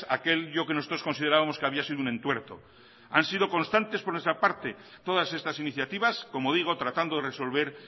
aquel lío que nosotros considerábamos que había sido un entuerto han sido constantes por nuestra parte todas estas iniciativas como digo tratando de resolver